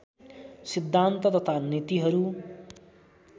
सिद्धान्त तथा नीतिहरू